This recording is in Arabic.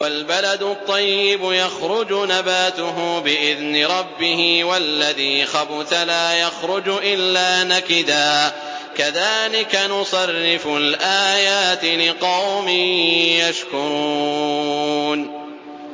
وَالْبَلَدُ الطَّيِّبُ يَخْرُجُ نَبَاتُهُ بِإِذْنِ رَبِّهِ ۖ وَالَّذِي خَبُثَ لَا يَخْرُجُ إِلَّا نَكِدًا ۚ كَذَٰلِكَ نُصَرِّفُ الْآيَاتِ لِقَوْمٍ يَشْكُرُونَ